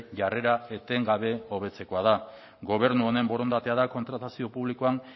jarrera etengabe hobetzekoa da gobernu honen borondatea da kontratazio publikoan